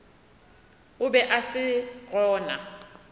o be a se gona